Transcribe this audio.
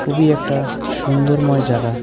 খুবই একটা সুন্দরময় জাগা .